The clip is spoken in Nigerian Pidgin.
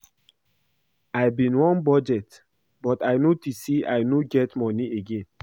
I bin wan budget but I notice say I no get money again